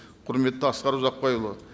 құрметті асқар ұзақбайұлы